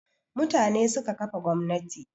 Mutane suka kafa gwamnati